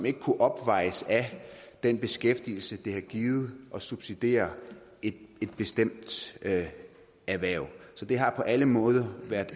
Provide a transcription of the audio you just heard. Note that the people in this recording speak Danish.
ikke kunnet opvejes af den beskæftigelse det har givet at subsidiere et bestemt erhverv så det har på alle måder været